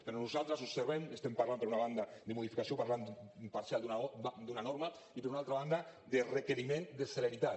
però nosaltres observem estem parlant per una banda de modificació parcial d’una norma i per una altra banda de requeriment de celeritat